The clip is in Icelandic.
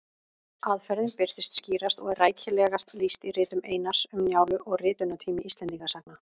Aðferðin birtist skýrast og er rækilegast lýst í ritum Einars, Um Njálu og Ritunartími Íslendingasagna.